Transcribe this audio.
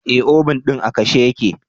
Eh, obun din a kashe ya ke.